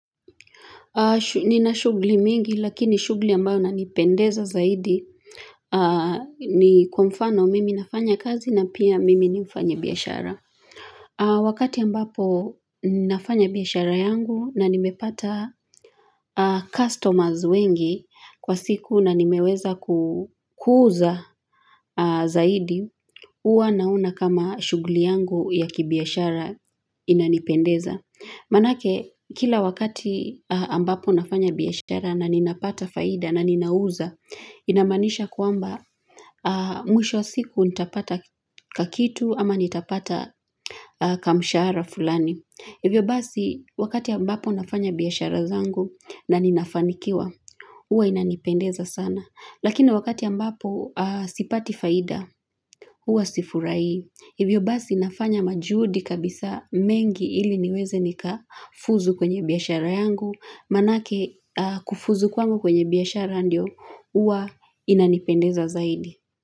Nina shughuli mingi lakini shughuli ambayo na nipendeza zaidi ni kwa mfano mimi nafanya kazi na pia mimi ni mfanyi biashara. Wakati ambapo nafanya biashara yangu na nimepata customers wengi kwa siku na nimeweza kuuza zaidi huwa nauna kama shughuli yangu ya kibiashara inanipendeza. Manake, kila wakati ambapo nafanya biashara na ninapata faida na ninauza, inamaanisha kwamba mwisho wa siku nitapata kakitu ama nitapata kamshahara fulani. Hivyo basi, wakati ambapo nafanya biashara zangu na ninafanikiwa, huwa inanipendeza sana. Lakini wakati ambapo sipati faida, huwa sifurahi hivyo basi nafanya majuhudi kabisa mengi ili niweze nika fuzu kwenye biashara yangu, manake kufuzu kwangu kwenye biashara ndio, huwa inanipendeza zaidi.